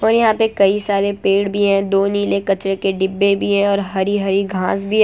और यहां पे कई सारे पेड़ भी हैं दो नीले कचरे के डिब्बे भी हैं और हरी हरी घास भी है।